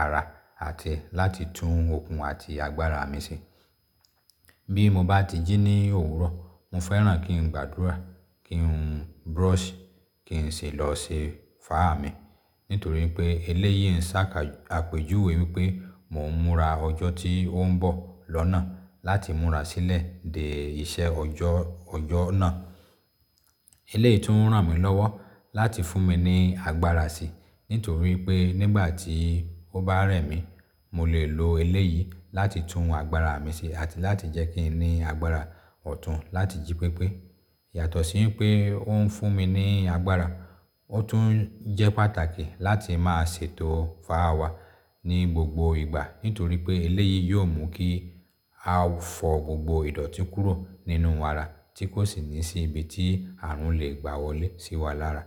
ara àti láti tún okun àti agbára mi ṣe. Bí mo bá ti jí ní òwúrọ̀, mo fẹ́ràn kí n gbàdúrà, kí n brush, kí n sì lọ ṣe fáà mi. Nítorí pé eléyìí ń ṣàka àpéjúwe wípé mo ń múra ọjọ́ tí ó ń bọ̀ lọ́nà láti múra sílẹ̀ dé iṣẹ́ ọjọ́, ọjọ́ náà. Eléyìí tún ń ràn mí lọ́wọ́ láti fún mi ní agbára síi. Nítorí pé nígbà tí ó bá rẹ̀ mí, mo lè lo eléyìí láti tún agbára mi ṣe àti láti jẹ́ kí n ní agbára ọ̀tún láti jí pépé. Yàtọ̀ sí pé ó ń fún mi ní agbára, ó tún jẹ́ pàtàkì láti máa ṣètò fáà wa ní gbogbo ìgbà. Nítorí pé eléyìí yóò mú kí a fọ gbogbo ìdọ̀tí kúrò nínú ara tí kò sì ní sí ibi tí àrùn lè gbà wọlé sí wa lára.